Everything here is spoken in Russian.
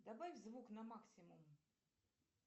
добавь звук на максимум